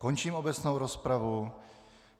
Končím obecnou rozpravu.